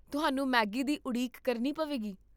ਤੁਹਾਨੂੰ ਮੈਗੀ ਦੀ ਉਡੀਕ ਕਰਨੀ ਪਵੇਗੀ